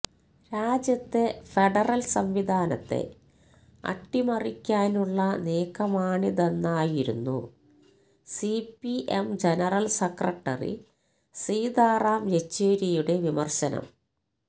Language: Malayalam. രാജ്യത്തെ ഫെഡറല് സംവിധാനത്തെ അട്ടിമറിക്കാനുള്ള നീക്കമാണിതെന്നായിരുന്നു സിപിഎം ജനറല് സെക്രട്ടറി സീതാറാം യെച്ചൂരിയുടെ വിമര്ശനം